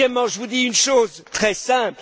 Deuxièmement, je vous dis une chose très simple.